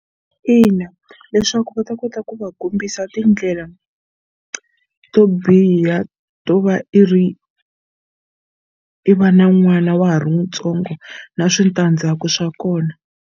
Ina, leswaku va ta kota ku va kombisa tindlela to biha to va i ri i va na n'wana wa ha ri ntsongo na switandzhaku swa kona.